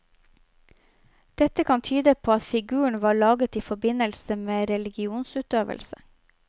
Dette kan tyde på at figuren var laget i forbindelse med religionsutøvelse.